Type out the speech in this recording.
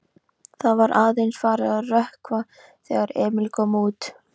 Það var aðeins farið að rökkva þegar Emil kom út.